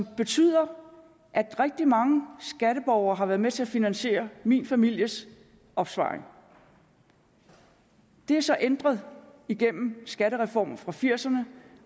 betyder at rigtig mange skatteborgere har været med til at finansiere min families opsparing det er så ændret igennem skattereformer fra nitten firserne